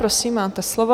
Prosím, máte slovo.